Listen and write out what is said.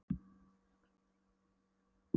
Meðan ég skrapp niður að bóka mig í nautaatið.